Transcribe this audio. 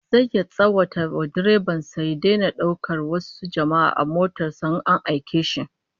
Zai tsawata wa direban sa da ya daina daukar wasu jama'a a motar in an aike shi